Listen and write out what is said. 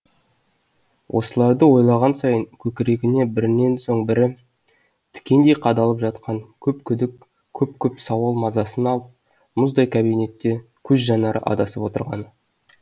осыларды ойлаған сайын көкірегіне бірінен соң бірі тікендей қадалып жатқан көп күдік көп көп сауал мазасын алып мұздай кабинетте көз жанары адасып отырғаны